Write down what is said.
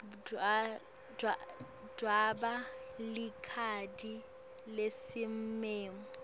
dvweba likhadi lesimemo